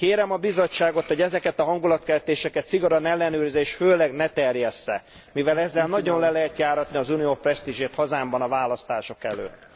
Kérem a Bizottságot, hogy ezeket a hangulatkeltéseket szigorúan ellenőrizze, és főleg ne terjessze, mivel ezzel nagyon le lehet járatni az Unió presztízsét hazámban a választások előtt.